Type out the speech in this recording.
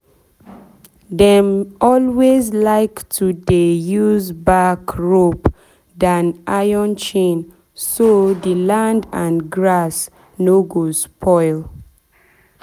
dem always like to dey use bark rope than iron chain so the land and grass no go spoil.